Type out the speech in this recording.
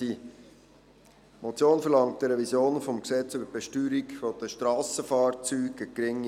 Die Motion verlangt eine Revision des Gesetzes über die Besteuerung der Strassenfahrzeuge (BFSG).